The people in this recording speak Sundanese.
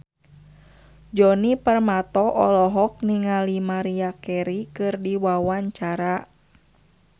Djoni Permato olohok ningali Maria Carey keur diwawancara